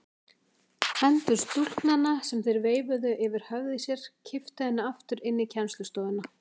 Hendur stúlknanna sem þær veifuðu yfir höfði sér kipptu henni aftur inn í kennslustofuna.